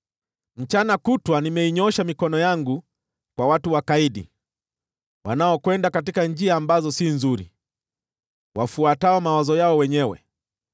Mchana kutwa nimeinyoosha mikono yangu kwa watu wakaidi, wanaokwenda katika njia ambazo si nzuri, wafuatao mawazo yao wenyewe: